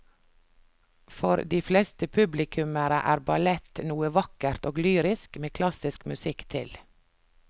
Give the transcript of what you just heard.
For de fleste publikummere er ballett noe vakkert og lyrisk med klassisk musikk til.